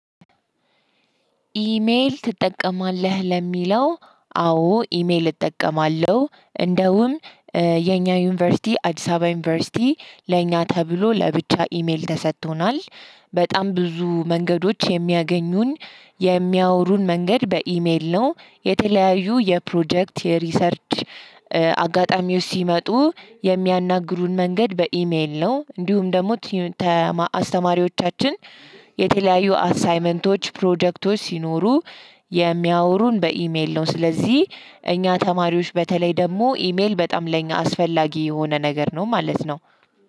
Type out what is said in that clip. ኢሜል ትጠቀማለህ ለሚለው? አዎ ኢሜል እጠቀማለሁ እንደውም የኛ ዩኒቨርሲቲ አዲስ አበባ ዩኒቨርሲቲ ለኛ ተብሎ ለብቻ ኢሜል ተሰጥቶናል። በጣም ብዙ መንገዶች የሚያገኙን የሚያወሩን መንገድ በኢሜል ነው። የተለያዩ የፕሮጀክት ሪሰርች አጋጣሚዎች ሲመጡ የሚያናግሩን መንገድ በኢሜል ነው። እንዲሁም ደግሞ አስተማሪዎቻችን የተለያዩ አሳይመንቶች ፕሮጀክቶች ሲኖሩ የሚያወሩን በኢሜል ነው። ስለዚህ እኛ ተማሪዎች በተለይ ደግሞ ኢሜል በጣም ለኛ አስፈላጊ የሆነ ነገር ነው ማለት ነው።